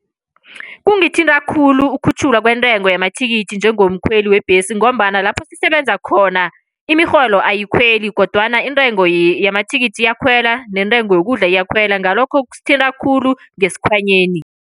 Kungithinta khulu ukukhutjhulwa kwentengo yamathikithi njengomkhweli webhesi, ngombana lapho sisebenza khona imirholo ayikhweli, kodwana intengo yamathikithi iyakhwela neentengo yokudla iyakhwela. Ngalokho kusithinta khulu ngesikhwanyeni.